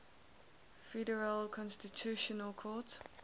federal constitutional court